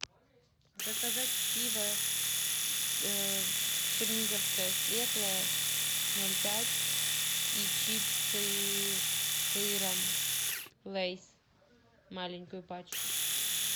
заказать пиво черниговское светлое ноль пять и чипсы с сыром лейс маленькую пачку